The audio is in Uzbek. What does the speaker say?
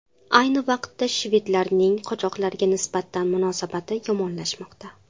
Ayni vaqtda, shvedlarning qochoqlarga nisbatan munosabati yomonlashmoqda.